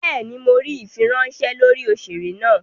Béèni, Mó ríi ifiweranṣẹ lórí òṣèré náa.